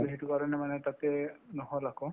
to সেইটো কাৰণে মানে তাতে নহল আকৌ